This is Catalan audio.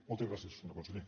moltes gràcies senyor conseller